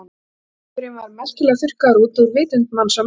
Hinn heimurinn var merkilega þurrkaður út úr vitund manns á meðan.